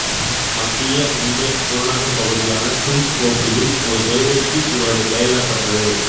மத்திய மும்பை புறநகர்ப் பகுதியான சின்ச்போக்லியில் ஒரு தெருவிற்கு இவரது பெயரிடப்பட்டது